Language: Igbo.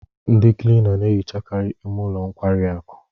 Ndị Klina na-ehichakarị ime ụlọ nkwari akụ.